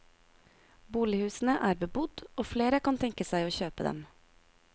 Bolighusene er bebodd og flere kan tenke seg å kjøpe dem.